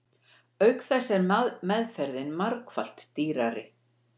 Auk þess er meðferðin margfalt dýrari.